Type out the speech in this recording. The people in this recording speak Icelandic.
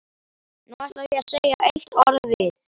Nú ætla ég að segja eitt orð við